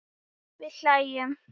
Við hlæjum.